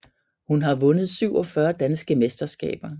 Hun har vundet 47 danske mesterskaber